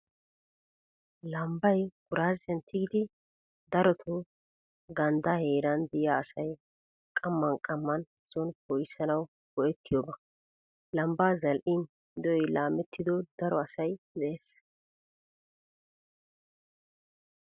Lambbay kuraazziyan tiggidi daroto ganddaa heeran de'iya asay qamman qamman sooni poo'issanawu go'ettiyooba. Lambbaa zal'in de'oy laamettido daro asay de"ees.